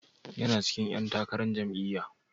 Yana cikin ƴan takarar jam'iyyar?